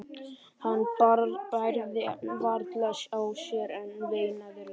Hann bærði varla á sér en veinaði lágt.